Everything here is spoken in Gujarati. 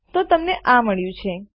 તો તમને આ મળ્યું છે